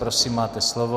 Prosím, máte slovo.